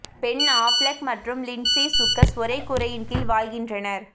pen Affleck மற்றும் Lindsay Shookus ஒரே கூரையின் கீழ் வாழ்கின்றனர்